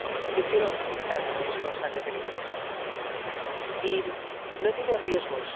Yo quiero felicitar a los responsables del informe, y no tiene riesgos